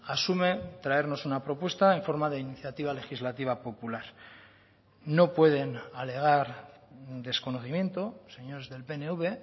asume traernos una propuesta en forma de iniciativa legislativa popular no pueden alegar desconocimiento señores del pnv